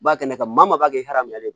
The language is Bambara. Ba kɛnɛ kan maa mun b'a kɛ hɛrɛ ye